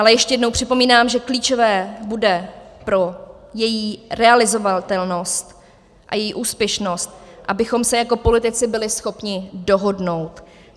Ale ještě jednou připomínám, že klíčové bude pro její realizovatelnost a její úspěšnost, abychom se jako politici byli schopni dohodnout.